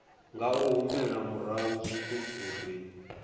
nga humela murahu zwiṱuku ri